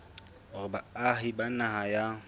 hore baahi ba naha ya